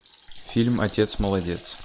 фильм отец молодец